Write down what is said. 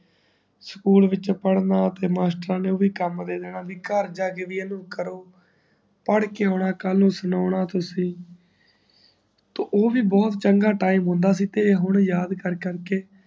school ਵਿਚ ਪੜਨਾ ਤੇ ਮਾਸਟਰ ਨੇ ਓਵੀ ਕਾਮ ਦੇਦੇਨਾ ਕਿ ਕਰ ਜਾਕੇ ਇਹ ਕਾਮ ਕਰੋ ਪੈਡ ਕੇ ਆਉਣਾ ਕਲ ਨੂੰ ਸੁਨਾਨੁਨਾ ਤੁਸੀ ਤੇ ਉਹ ਵੀ ਬਹੁਤ ਚੰਗਾ ਟੀਮ ਹੁੰਦਾ ਸੀ ਤੇ ਹੁਣ ਯਾਦ ਕਰ ਕਰ ਕੇ